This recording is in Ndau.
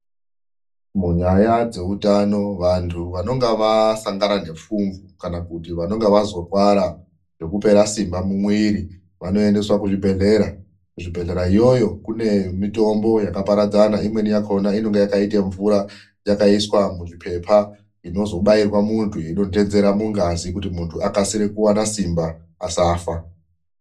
Munyaya dzeutano vantu vanonga vasangana nefumvu ,kana kuti vanenge vapera simba mumwiri vanoedeswa kuzvibhedhlera , kuzvibhedhlera iyoyo kune mitombo yakaparadzana imweni yakhona yakaiswa muzvipepa inozobairwa munhu ichidonhedzera mungazi kuti mundu awane simba asafa